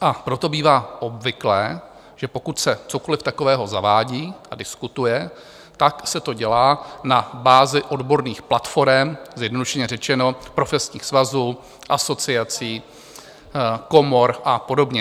A proto bývá obvyklé, že pokud se cokoli takového zavádí a diskutuje, tak se to dělá na bázi odborných platforem, zjednodušeně řečeno profesních svazů, asociací, komor a podobně.